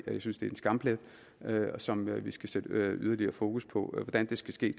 synes det er en skamplet som vi skal sætte yderligere fokus på hvordan det skal ske